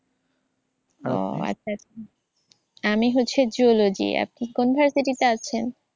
ও আচ্ছা আচ্ছা। আমি হচ্ছে zoology । আপনি কোন ভার্সিটিতে আছেন?